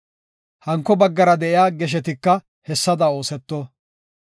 Hanko baggara de7iya geshetika hessada ooseto.